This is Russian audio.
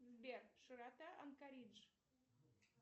сбер широта анкоридж